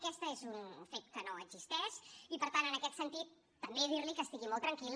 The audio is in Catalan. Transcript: aquest és un fet que no existeix i per tant en aquest sentit també dir li que estigui molt tranquil